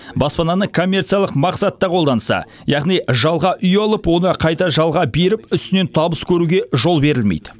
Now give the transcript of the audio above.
баспананы коммерциялық мақсатта қолданса яғни жалға үй алып оны қайта жалға беріп үстінен табыс көруге жол берілмейді